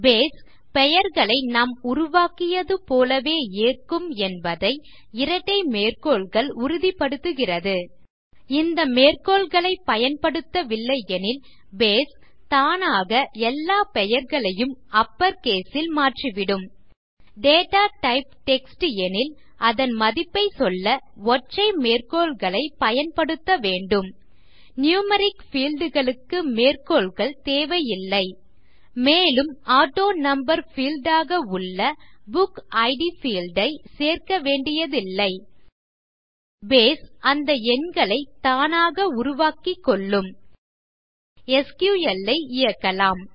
base பெயர்களை நாம் உருவாக்கியது போலவே ஏற்கும் என்பதை இரட்டை மேற்கோள்கள் உறுதிப்படுத்திகிறது இந்த மேற்கோள்களைப் பயன்படுத்தவில்லை எனில் பேஸ் தானாக எல்லா பெயர்களையும் அப்பர் கேஸ் ல் மாற்றிவிடும் டேட்டா டைப் டெக்ஸ்ட் எனில் அதன் மதிப்பை சொல்ல ஒற்றை மேற்கோள்களைப் பயன்படுத்த வேண்டும் நியூமெரிக் பீல்ட் களுக்கு மேற்கோள்கள் தேவையில்லை மேலும் ஆட்டோனம்பர் பீல்ட் ஆக உள்ள புக்கிட் பீல்ட் ஐ சேர்க்கவேண்டியதில்லை பேஸ் அந்த எண்களை தானாக உருவாக்கிக்கொள்ளும் எஸ்கியூஎல் ஐ இயக்கலாம்